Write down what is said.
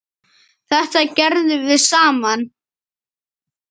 Þetta gerðum við saman.